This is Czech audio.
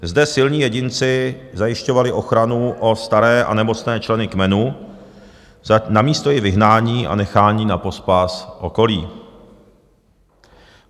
Zde silní jedinci zajišťovali ochranu o staré a nemocné členy kmene namísto jejich vyhnání a nechání na pospas okolí.